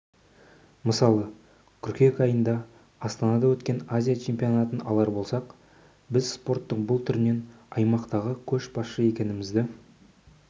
мысалы қыркүйек айында астанада өткен азия чемпионатын алар болсақ біз спорттың бұл түрінен аймақтағы көшбасшы екенімізді